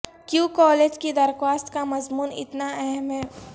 کیوں کالج کی درخواست کا مضمون اتنا اہم ہے